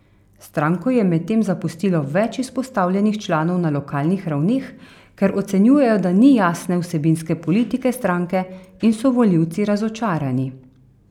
Stranko je medtem zapustilo več izpostavljenih članov na lokalnih ravneh, ker ocenjujejo, da ni jasne vsebinske politike stranke in so volivci razočarani.